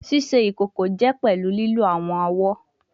Ṣiṣe ikoko jẹ pẹlu lilo awọn ọwọ